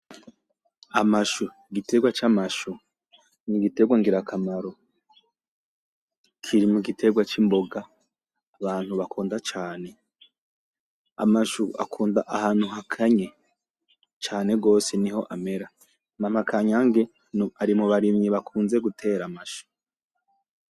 Amashu, igitegwa c’amashu, ni igitegwa ngirakamaro, kiri mu gitegwa c’imboga abantu bakunda cane. Amashu akunda ahantu hakanye cane gose niho amera. Mama Kanyange ari mu barimyi bakunze gutera amashu.